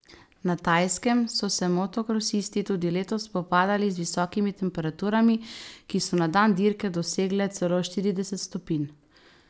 Na Tajskem so se motokrosisti tudi letos spopadali z visokimi temperaturami, ki so na dan dirke dosegle celo štirideset stopinj.